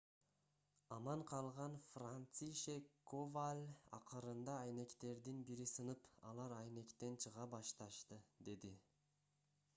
аман калган францишек коваль акырында айнектердин бири сынып алар айнектен чыга башташты - деди